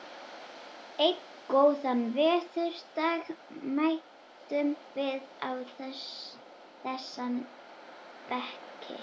Einn góðan veðurdag mætum við á þessa bekki.